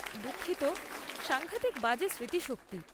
দুঃখিত, সাঙ্ঘাতিক বাজে স্মৃতিশক্তি।